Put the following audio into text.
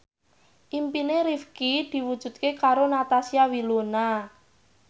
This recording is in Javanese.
impine Rifqi diwujudke karo Natasha Wilona